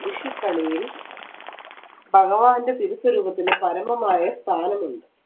വിഷുക്കണിയിൽ ഭഗവാന്റെ രൂപത്തിൽ പരമമായ സ്ഥാനമുണ്ട്